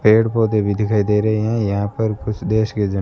पेड़ पौधे भी दिखाई दे रहे हैं यहां पर कुछ देश के जा--